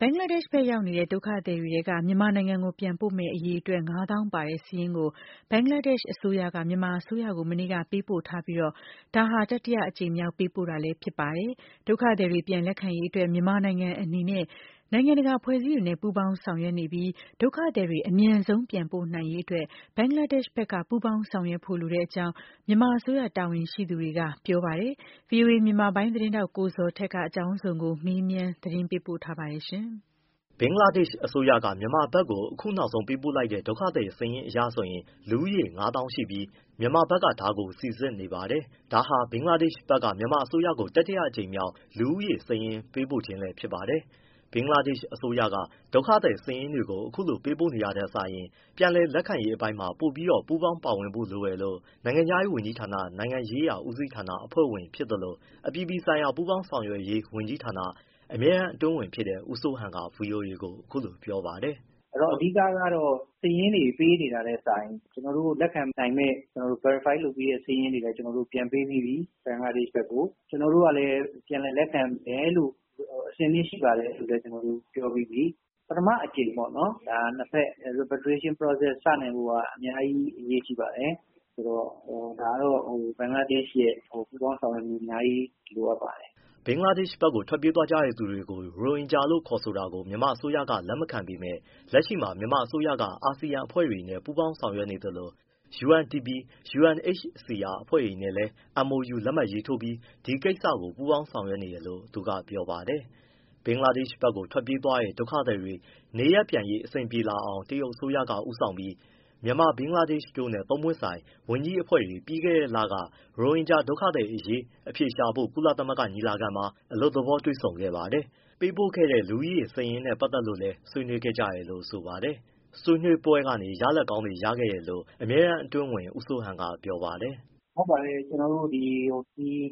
ဘင်္ဂလားဒေ့ရှ်ဘက်ရောက်နေတဲ့ ဒုက္ခသည်တွေထဲက မြန်မာနိုင်ငံကိုပြန်ပို့မယ့် အရေအတွက် ငါးသောင်းပါတဲ့ စာရင်းကို ဘင်္ဂလားဒေ့ရှ်အစိုးရက မြန်မာအစိုးရကို မနေ့က ပေးပို့ထားပြီး ဒါက တတိယအကြိမ်မြောက် ပေးပို့တာဖြစ်ပါတယ်။ ဒုက္ခသည်တွေ ပြန်လက်ခံရေးအတွက် မြန်မာနိုင်ငံအနေနဲ့ နိုင်ငံတကာ အဖွဲ့အစည်းတွေနဲ့ ပူးပေါင်းဆောင်ရွက်နေပြီး ဒုက္ခသည်တွေ အမြန်ဆုံး ပြန်ပို့နိုင်ရေးအတွက် ဘင်္ဂလားဒေ့ရှ်ဘက်က ပူးပေါင်းဆောင်ရွက်ဖို့ လိုကြောင်း မြန်မာအစိုးရ တာဝန်ရှိသူတွေက ပြောပါတယ်။ ဗွီအိုအေ မြန်မာပိုင်း သတင်းထောက် ကိုဇော်ထက်က အကြောင်းစုံကို မေးမြန်း ပေးပို့ထားပါတယ်။ ဘင်္ဂလားဒေရှ့်အစိုးရက မြန်မာဘက်ကို အခုနောက်ဆုံးပို့လိုက်တဲ့ ဒုက္ခသည်စာရင်းအရ လူဦးရေ ၅၀,၀၀၀ ရှိပြီး မြန်မာဘက်က ဒါကို ပြန်စိစစ်နေပါတယ်။ ဒါဟာ ဘင်္ဂလားဒေ့ရှ်ဘက်က မြန်မာအစိုးရထံကို တတိယအကြိမ်မြောက် လူဦးရေစာရင်း ပေးပို့ခြင်းလည်း ဖြစ်ပါတယ်။ ဘင်္ဂလားဒေ့ရှ်အစိုးရက ဒုက္ခသည်စာရင်းတွေကို အခုလို ပေးပို့နေတာထက်စာရင် ပြန်လည်လက်ခံရေးအပိုင်းမှာ ပိုပြီးပူးပေါင်း ပါဝင်ဖို့လိုတယ်လို့ နိုင်ငံခြားရေး ဝန်ကြီးဌာန နိုင်ငံရေးရာ ဦးစီးဌာန အဖွဲ့ဝင်ဖြစ်သလို၊ အပြည်ပြည်ဆိုင်ရာ ပူးပေါင်းဆောင်ရွက်ရေး ဝန်ကြီးဌာနအမြဲတမ်း အတွင်းဝန်ဖြစ်တဲ့ ဦးစိုးဟန်က ဗွီအိုအေကို အခုလိုပြောပါတယ်။ “ အဓိကတော့ စာရင်းတွေ ပေးနေတာထက်စာရင် ကျနော်တို့ လက်ခံနိုင်မယ့် Verify ပြီးတဲ့စာရင်းတွေလည်း ပြန်ပေးပြီးပြီ ဘင်္ဂလားဒေရှ့်ဘက်ကို။ ကျနော်တို့ကလည်း ပြန်လည်လက်ခံတယ်လို့၊ အဆင်သင့်ရှိပါတယ်လို့ ပြောပြီးပြီ။ ပထမအကြိမ် Veriftration process စနိုင်ဖို့က အများကြီး အရေးကြီးပါတယ်။ ဆိုတော့ ဒါကတော့ ဘင်္ဂလားဒေရှ့်ရဲ့ ပူးပေါင်း ဆောင်ရွက်မှု အများကြီး လိုအပ်ပါတယ်။” ဘင်္ဂလားဒေ့ရှ်ဘက်ကို ထွက်ပြေးသွားကြတဲ့သူတွေကို ရိုဟင်ဂျာလို့ ခေါ်ဆိုတာကို မြန်မာအစိုးရက လက်မခံပေမယ့် လက်ရှိမှာ မြန်မာအစိုးရက အာစီယံအဖွဲ့တွေနဲ့ ပူးပေါင်း ဆောင်ရွက်နေသလို UNDP၊ UNHCR အဖွဲ့တွေနဲ့လည်း MoU လက်မှတ်ရေးထိုးပြီး ဒီကိစ္စကို ပူးပေါင်းဆောင်ရွက်နေတယ်လို့ သူကပြောပါတယ်။ ဘင်္ဂလားဒေ့ရှ်ဘက်ကို ထွက်ပြေးသွားတဲ့ ဒုက္ခသည်တွေ နေရပ်ပြန်ရေး အဆင်ပြေလာအောင် တရုတ်အစိုးရက ဦးဆောင်ပြီး မြန်မာ၊ ဘင်္ဂလားဒေရှ့် တို့နဲ့ ၃ ၃ ပွင့်ဆိုင် ဝန်ကြီးအဖွဲ့တွေ ပြီးခဲ့တဲ့လက ရိုဟင်ဂျာဒုက္ခတွေသည်အရေး အဖြေရှာဖို့ ကုလသမဂ္ဂညီလာခံမှာ အလွတ်သဘောတွေ့ဆုံခဲ့ပါတယ်။ ပေးပို့ခဲ့တဲ့ လူဦးရေစာရင်းနဲ့ ပတ်သက်လို့လည်း ဆွေးနွေးခဲ့ကြတယ်လို့ ဆိုပါတယ်။ ဆွေးနွေးပွဲကနေ ရလာဒ်ကောင်းတွေ ရခဲ့တယ်လို့ အမြဲတမ်းအတွင်းဝန် ဦးစိုးဟန်က ဆက်ပြောပါတယ်။ “ ဟုတ်ပါတယ် ကျနော်တို့